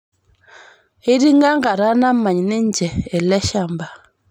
Eisting'o enkata namany ninche eleshamba